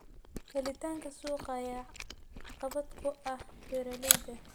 Helitaanka suuqa ayaa caqabad ku ah beeralayda.